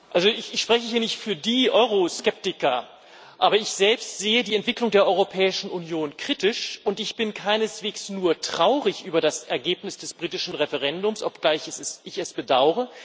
Ich spreche hier nicht für die Euroskeptiker, aber ich selbst sehe die Entwicklung der Europäischen Union kritisch. Und ich bin keineswegs nur traurig über das Ergebnis des britischen Referendums, obgleich ich es bedaure.